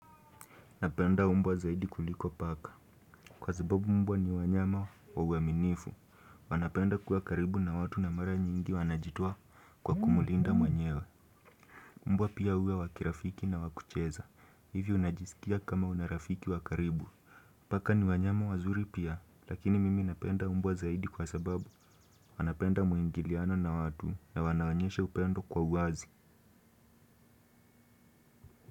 Napenda mbwa zaidi kuliko paka. Kwa sababu mbwa ni wanyama wa uaminifu. Wanapenda kuwa karibu na watu na mara nyingi wanajitoa kwa kumlinda mwenyewe. Mbwa pia uwe wakirafiki na wakucheza. Hivi unajisikia kama una rafiki wa karibu. Paka ni wanyama wazuri pia. Lakini mimi napenda umbwa zaidi kwa sababu. Wanapenda muingilianaona watu na wanaonyeshe upendo kwa uwazi.